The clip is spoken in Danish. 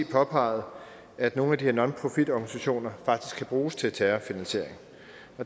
påpeget at nogle af de her nonprofitorganisationer faktisk kan bruges til terrorfinansiering